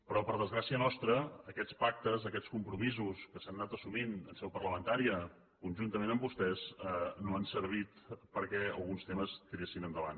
però per a desgràcia nostra aquests pactes aquests compromisos que s’han anat assumint en seu parlamentària conjuntament amb vostès no han servit perquè alguns temes tiressin endavant